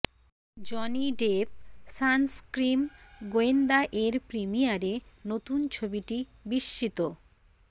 Johnny Depp সানস্ক্রিম গোয়েন্দা এর প্রিমিয়ারে নতুন ছবিটি বিস্মিত